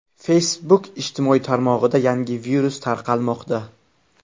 Facebook ijtimoiy tarmog‘ida yangi virus tarqalmoqda.